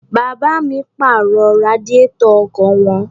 Bàbá mi pàrọ̀ radiátọ̀ ọkọ̀ wọn.